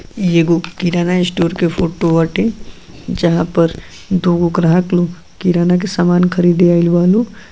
ई एगो किराना स्टोर के फोटो हटे जहाँ पर दुगो ग्राहक लोग किराना के सामान ख़रीदे आइल बा लोग।